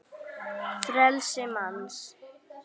frelsi manns